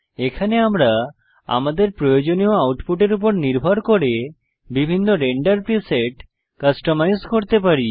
এখানে আমরা আমাদের প্রয়োজনীয় আউটপুটের উপর নির্ভর করে বিভিন্ন রেন্ডার প্রিসেট কাস্টমাইজ করতে পারি